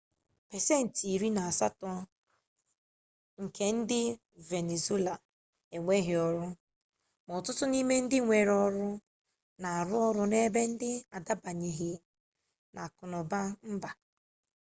pasentị iri na asatọ nke ndị venezuela enweghị ọrụ ma ọtụtụ n'ime ndị nwere ọrụ na-arụ ọrụ n'ebe ndị n'adabanyeghi n'akụnụba mba